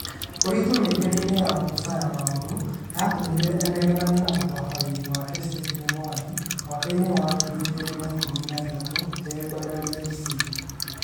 ũritũ mĩkĩre-inĩ ya Musa ya maũndũ yatũmire anegenanie na mũtabarĩri wake Stephen Mwangi mwaka-inĩ wa ngiri igĩri na ikũmi na ithathũ e Bandari FC